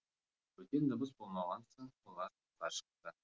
бөтен дыбыс болмаған соң олар сыртқа шықты